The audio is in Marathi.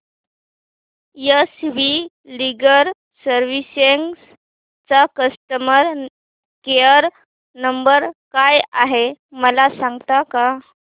एस वी लीगल सर्विसेस चा कस्टमर केयर नंबर काय आहे मला सांगता का